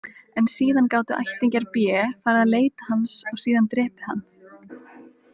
En síðan gátu ættingjar B farið að leita hans og síðan drepið hann.